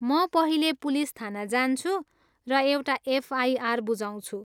म पहिले पुलिस थाना जान्छु र एउटा एफआइआर बुझाउँछु।